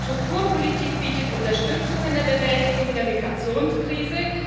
Die Strukturpolitik bietet Unterstützung bei der Bewältigung der Migrationskrise.